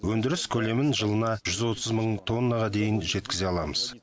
өндіріс көлемін жылына жүз отыз мың тоннаға дейін жеткізе аламыз